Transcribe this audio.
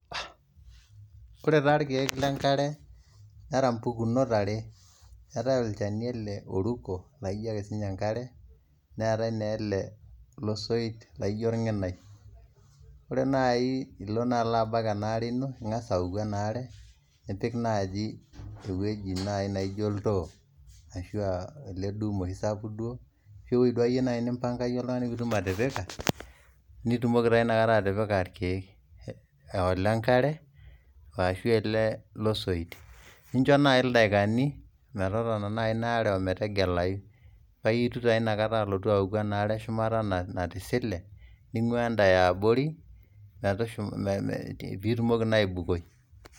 Ore taa irkeek lenkare nera mpukunot are, eetae olchani ele oruko laijo ake sii ninye enkare, neetae na ele losoit laijo orng'inai. Ore nai ilo naa abak enaare ino, ing'as aoku enaare, nipik naaji ewueji nai naijo oltoo, ashua ele dum oshi sapuk duo, ashu ewoi duo akeyie nipanga yie oltung'ani pitum atipika, nitumoki taa inakata atipika irkeek. Ah ole nkare, ashu ele losoit. Nincho nai daikani, metotona nai inaare ometegelayu. Paitu taa tanakata alotu aoku enaare eshumata natisile, ning'uaa enda eabori, pitumoki naa aibukoi.